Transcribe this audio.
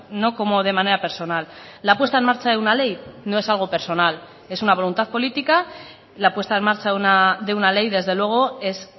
no como de manera personal la puesta en marcha de una ley no es algo personal es una voluntad política la puesta en marcha de una ley desde luego es